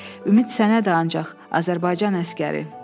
Ümid sənədir ancaq, Azərbaycan əsgəri.